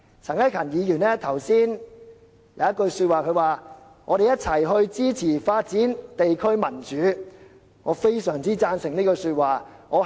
陳克勤議員剛才說的一句話："我們一起支持發展地區民主"，我是非常贊成的。